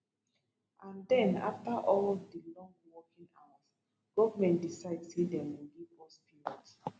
and den afta all di long working hours goment decide say dem go give us peanuts